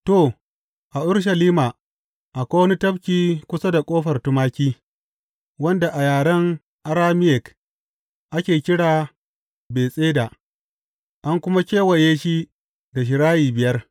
To, a Urushalima akwai wani tafki kusa da Ƙofar Tumaki, wanda a yaren Arameyik ake kira Betesda an kuma kewaye shi da shirayi biyar.